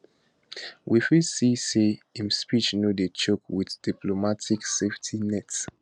we fit see say im speech no dey choke wit diplomatic safety nets